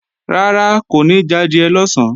Rárá, kò ní jadìẹ lọ̀sán